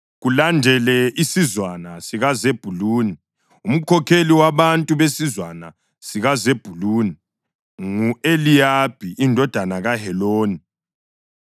Kulandele isizwana sikaZebhuluni. Umkhokheli wabantu besizwana sikaZebhuluni ngu-Eliyabi indodana kaHeloni.